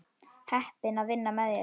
Heppin að vinna með þér.